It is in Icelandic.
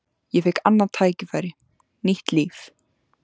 Ég fékk annað tækifæri, nýtt líf.